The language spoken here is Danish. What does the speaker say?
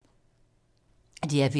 DR P3